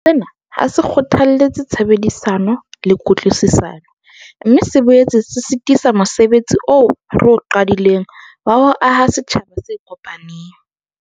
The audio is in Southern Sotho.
Sena ha se kgothalletse tshebedisano le kutlwisisano, mme se boetse se sitisa mose betsi oo re o qadileng wa ho aha setjhaba se kopaneng.